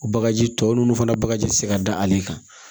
O bagaji tɔw n'u fana bagaji ti se ka da ale kan